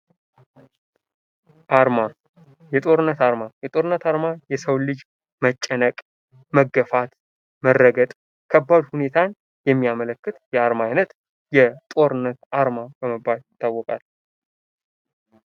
አርማ፦ የጦርነት አርማ፦ የጦርነት አርማ የሰውን ልጅ መጨነቅ ፣መገፋት፣ መረገጥ ከባድ ሁኔታን የሚያመለክት የአርማ አይነት የጦርነት አርማ በመባል ይታወቃል።